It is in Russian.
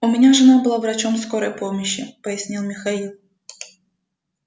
у меня жена была врачом скорой помощи пояснил михаил